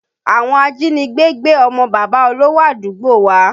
Àwọn ajínigbé gbé ọmọ bàbá olówò àdúgbò wa